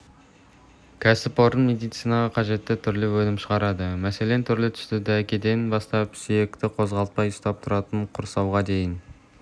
кәсіпорын медицинаға қажетті түрлі өнім шығарады мәселен түрлі-түсті дәкеден бастап сүйекті қозғалтпай ұстап тұратын құрсауға дейін